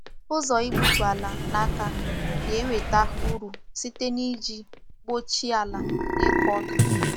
Ụzọ igbutu ala n’aka na-enweta uru site n’iji mkpuchi ala n’ịkụ ọka.